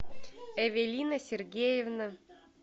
эвелина сергеевна